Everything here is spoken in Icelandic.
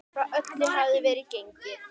Frá öllu hafði verið gengið.